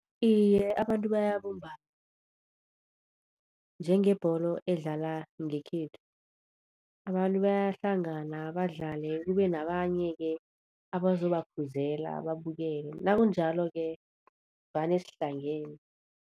Iye abantu bayabumbana, njengebholo edlala ngekhethu. Abantu bayahlangana badlale, kube nabanye-ke abazobakhuzela babukele nakunjalo-ke vane sihlangene.